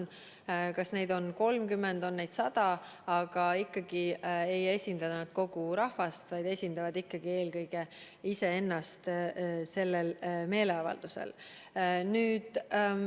Aga ükskõik kas neid on 30 või 100, ei esinda nad ikkagi kogu rahvast, vaid esindavad meeleavaldusel ikkagi eelkõige iseennast.